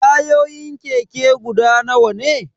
Tayoyin keke guda nawa ne?